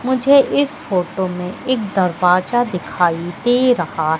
मुझे इस फोटो में एक दरवाजा दिखाई दे रहा--